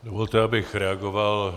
Dovolte, abych reagoval...